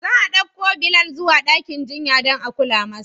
Za a ɗauko Bilal zuwa dakin jinya don a kula masa.